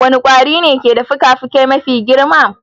Wane kwari ne ke da fikafikai mafi girma?